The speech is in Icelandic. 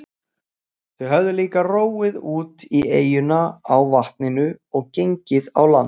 Þau höfðu líka róið út í eyjuna á vatninu og gengið á land.